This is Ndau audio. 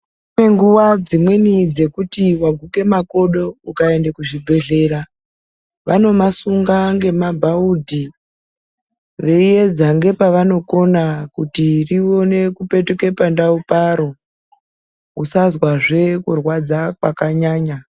Kune nguwa dzimweni dzekuti waguke makodo ukaende kuzvibhedhlera vanomasunga ngemabhaundi veiedza nepavanokona kuti rione kupetuka pandau paro usazwazve kurwadza kwakanyanya.